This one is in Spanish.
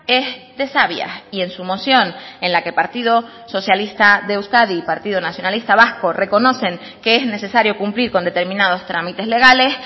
es de sabias y en su moción en la que partido socialista de euskadi y partido nacionalista vasco reconocen que es necesario cumplir con determinados trámites legales